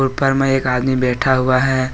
ऊपर मैं एक आदमी बैठा हुआ है।